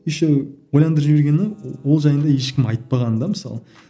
еще ойландырып жібергені ол жайында ешкім айтпаған да мысалы